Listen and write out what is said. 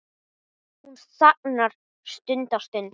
Hún þagnar stutta stund.